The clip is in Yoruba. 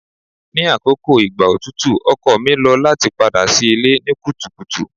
Ni akoko igba otutu ọkọ mi lo lati pada si ile ni kutukutu